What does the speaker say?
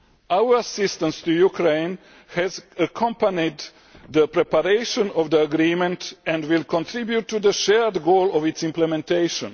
Our assistance to Ukraine has accompanied the preparation of the agreement and will contribute to the shared goal of its implementation.